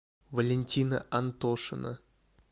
валентина антошина